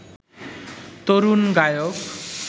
তরুণ গায়ক